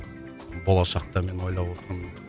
болашақта мен ойлап отырмын